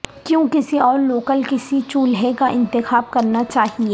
کیوں کسی اور لوکل کسی چولہے کا انتخاب کرنا چاہئے